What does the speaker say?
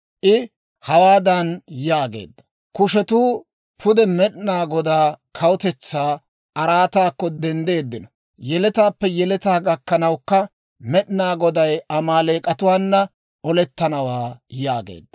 I hawaadan yaageedda; «Kushetuu pude Med'inaa Godaa kawutetsaa araataakko denddeeddino; yeletaappe yeletaa gakkanawukka Med'inaa Goday Amaaleek'atuwaana olettanawaa» yaageedda.